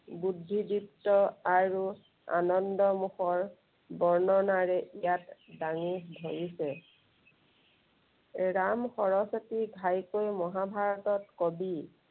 বুদ্ধি দীপ্ত আৰু আনন্দমুখৰ বৰ্ণনাৰে ইয়াত দাঙি ধৰিছে। ৰাম সৰস্বতী ঘাইকৈ মহাভাৰতৰ কবি।